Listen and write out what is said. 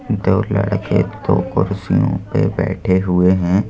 दो लड़के दो कुर्सियों पर बैठे हुए हैं।